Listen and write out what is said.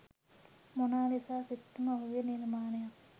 Mona Lisa සිත්තම ඔහුගේ නිර්මාණයක්